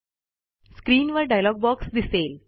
स्क्रीनवर dialog box दिसेल